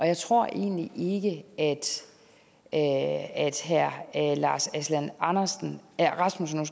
jeg tror egentlig ikke at at herre lars aslan aslan rasmussen